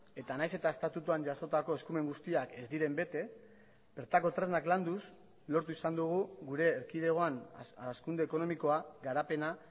eta nahiz eta estatutuan jasotako eskumen guztiak ez diren bete bertako tresnak landuz lortu izan dugu gure erkidegoan hazkunde ekonomikoa garapena